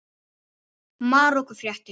Marorku fréttir